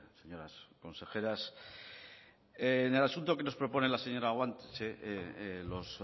señoras consejeras en el asunto que nos propone la señora guanche los